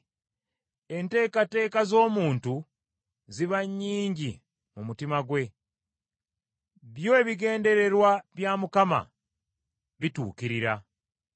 Enteekateeka z’omuntu ziba nnyingi mu mutima gwe; byo ebigendererwa bya Mukama bituukirira.